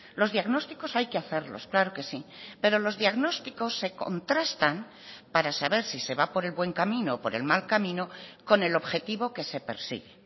los diagnósticos hay que hacerlos claro que sí pero los diagnósticos se contrastan para saber si se va por el buen camino o por el mal camino con el objetivo que se persigue